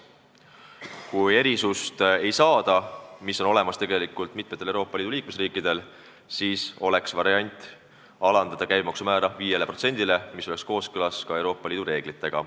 Kui me erisuse luba ei saa – mitmel Euroopa Liidu liikmesriigil on see aga olemas –, siis oleks variant alandada käibemaksu määra 5%-ni, mis oleks kooskõlas Euroopa Liidu reeglitega.